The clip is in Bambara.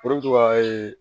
Olu bɛ to ka